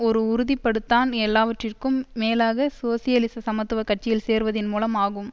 ஒரு உறுதிப்படுத்தான் எல்லாவற்றிகும் மேலாக சோசியலிச சமத்துவ கட்சியில் சேர்வதின் மூலம் ஆகும்